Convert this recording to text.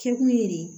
Kɛkun ye de